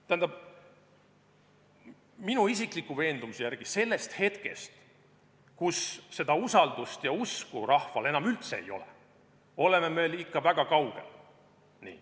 Tähendab, minu isikliku veendumuse järgi sellest hetkest, kus seda usaldust ja usku rahval enam üldse ei ole, oleme me ikka veel väga kaugel.